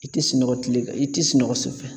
I ti sunɔgɔ kile fɛ i ti sunɔgɔ su fɛ